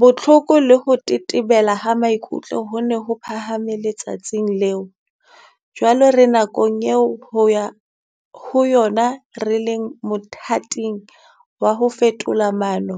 Bohloko le ho tetebela ha maikutlo ho ne ho phahame le-tsatsing leo. Jwale re nakong eo ho yona re leng mothating wa ho fetola maano